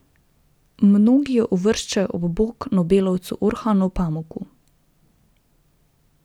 Mnogi jo uvrščajo ob bok nobelovcu Orhanu Pamuku.